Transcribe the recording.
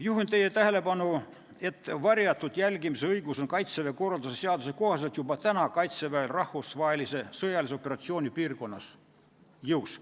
Juhin teie tähelepanu, et varjatud jälgimise õigus on Kaitseväe korralduse seaduse kohaselt Kaitseväel rahvusvahelise sõjalise operatsiooni piirkonnas juba praegu olemas.